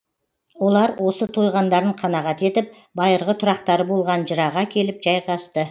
олар осы тойғандарын қанағат етіп байырғы тұрақтары болған жыраға келіп жайғасты